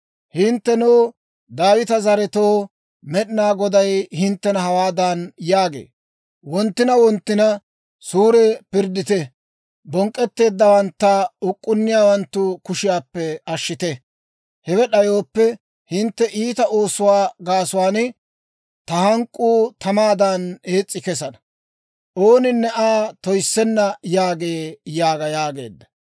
Hinttenoo, Daawita zaretoo, Med'inaa Goday hinttena hawaadan yaagee; «Wonttina wonttina suure pirddite; bonk'k'etteeddawantta uk'k'unniyaawanttu kushiyaappe ashshite. Hewe d'ayooppe, hintte iita oosuwaa gaasuwaan ta hank'k'uu tamaadan ees's'i kesana; ooninne Aa toyissenna yaagee yaaga» yaageedda.